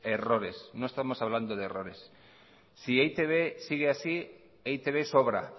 errores no estamos hablando de errores si e i te be sigue así e i te be sobra